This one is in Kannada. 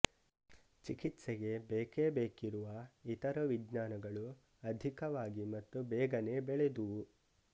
ಚಿಕಿತ್ಸೆಗೆ ಬೇಕೇಬೇಕಿರುವ ಇತರ ವಿಜ್ಞಾನಗಳು ಅಧಿಕವಾಗಿ ಮತ್ತು ಬೇಗನೆ ಬೆಳೆದುವು